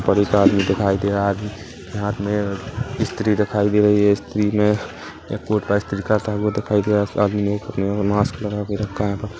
पर एक आदमी दिखाई दे रहा है आदमी के हाथ में स्त्री दिखाई दे रही है स्त्री में ये कोट पर स्त्री करता हुआ दिखाई दे रहा उस आदमी मुँह एवं मास्क लगा के रखा है प --